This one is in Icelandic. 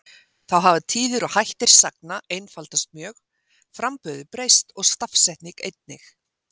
Þá hafa tíðir og hættir sagna einfaldast mjög, framburður breyst og stafsetning einnig.